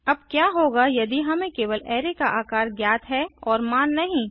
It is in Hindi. अब क्या होगा यदि हमें केवल अराय का आकार ज्ञात है और मान नहीं